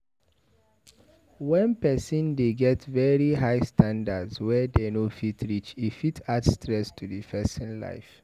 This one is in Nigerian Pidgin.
When person dey get very high standards wey dem no fit reach, e fit add stress to di person life